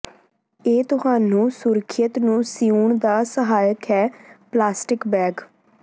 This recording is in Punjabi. ਇਹ ਤੁਹਾਨੂੰ ਸੁਰੱਖਿਅਤ ਨੂੰ ਸਿਉਣ ਦਾ ਸਹਾਇਕ ਹੈ ਪਲਾਸਟਿਕ ਬੈਗ